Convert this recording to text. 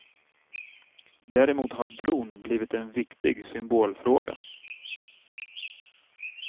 Däremot har bron blivit en viktig symbolfråga.